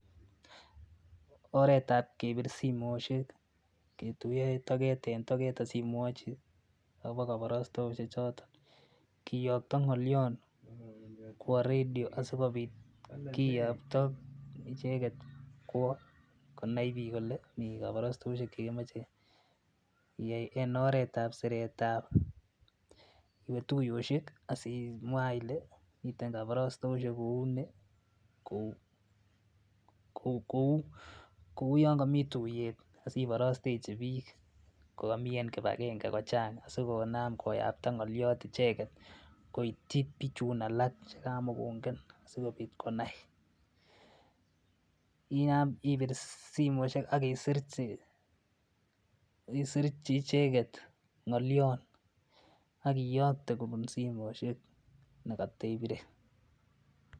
oreet ab kebiir simoshek ketuyo togeet en togeet osimwoochi agobo koborostoutik choton kiyogto ngolyoon kwoo redio sigobiit kiyookto icheget kwoo konain biik kole mii kabarastoishek chegemoche iyaai en oreet ab sireet ab en tuyoshek asimwaa ile miteen kabarastoishek kouu nii kouu yoon komii tuyet aiborostechi biik kogomii en kibagenge kochaang sigonam koyokto ngolyoot icheget koityii bichuun alak chegamagongen sigobiit konai ibiir simoishek ak iisirchi isiirchi icheget ngolion ak iyoogte kobun simoishek negotebire